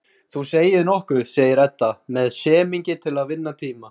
Þú segir nokkuð, segir Edda með semingi til að vinna tíma.